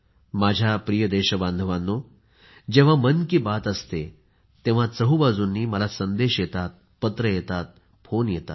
माझ्या प्रिय देशबांधवांनो जेव्हा मन की बात असते तेव्हा चोहूबाजूंनी मला संदेश येतात पत्र येतात फोन येतात